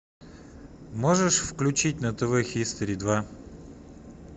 можешь включить на тв хистори два